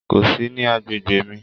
Kò sí ní agbègbè mí.